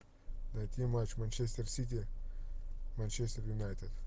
найти матч манчестер сити манчестер юнайтед